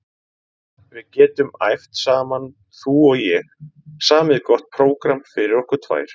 Við getum æft saman þú og ég, samið gott prógramm fyrir okkur tvær.